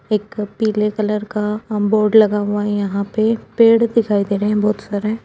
एक पीले कलर का अम् बोर्ड लगा हुआ है यहाँ पे। पेड़ दिखाई दे रहे हैं बहुत सारे।